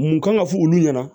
Mun kan ka fɔ olu ɲɛna